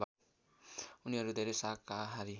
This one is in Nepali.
उनीहरू धेरै शाकाहारी